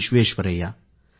Visvesvaraya